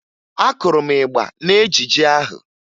Akụrụ m ịgba n'ejijie ahụ